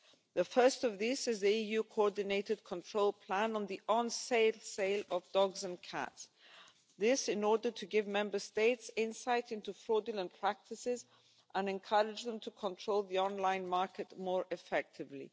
The first of these is the EU coordinated control plan on the online sale of dogs and cats, this in order to give Member States insight into fraudulent practices and encourage them to control the online market more effectively.